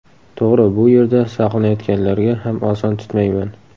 To‘g‘ri, bu yerda saqlanayotganlarga ham oson tutmayman.